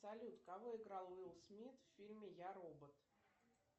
салют кого играл уилл смит в фильме я робот